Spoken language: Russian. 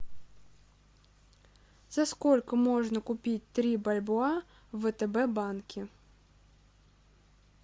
за сколько можно купить три бальбоа в втб банке